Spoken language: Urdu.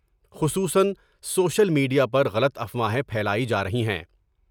خصوصا سوشل میڈ یا پر غلط افواہیں پھیلائیں جارہی ہیں ۔